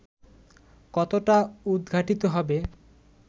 কতটা উদঘাটিত হবে